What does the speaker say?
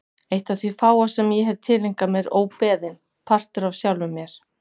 Eitt af því fáa sem ég hef tileinkað mér óbeðinn, partur af sjálfum mér.